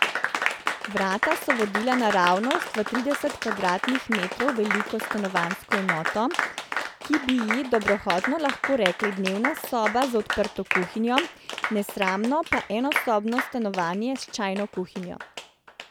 Vrata so vodila naravnost v trideset kvadratnih metrov veliko stanovanjsko enoto, ki bi ji dobrohotno lahko rekli dnevna soba z odprto kuhinjo, nesramno pa enosobno stanovanjce s čajno kuhinjo.